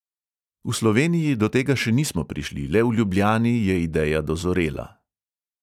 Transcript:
V sloveniji do tega še nismo prišli, le v ljubljani je ideja dozorela.